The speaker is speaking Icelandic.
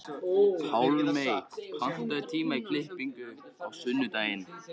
Pálmey, pantaðu tíma í klippingu á sunnudaginn.